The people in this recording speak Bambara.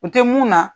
U tɛ mun na